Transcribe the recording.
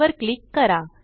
वर क्लिक करा